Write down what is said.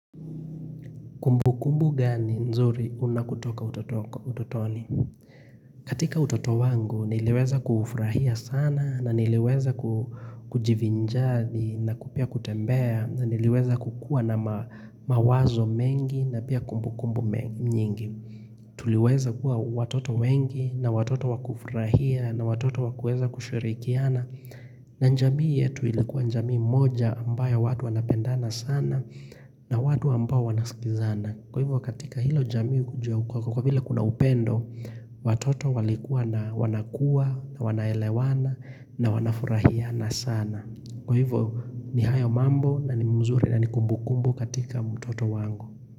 Kumbu kumbu gani nzuri unakutoka utotoni. Katika utoto wangu niliweza kufrahia sana na niliweza kujivinjathi na kupia kutembea na niliweza kukua na mawazo mengi na pia kumbu kumbu mnyingi. Tuliweza kuwa watoto wengi na watoto wakufurahia na watoto wakueza kushirikiana na njamii yetu ilikuwa njamii moja ambayo watu wanapendana sana na watu ambao wanaskizana Kwa hivyo katika hilo jamii kujia ukwaka kwa vila kuna upendo Watoto walikuwa na wanakuwa na wanaelewana na wanafurahiana sana Kwa hivyo ni hayo mambo na ni mzuri na ni kumbukumbu katika mutoto wango.